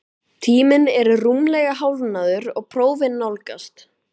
Tíminn er rúmlega hálfnaður og prófin nálgast,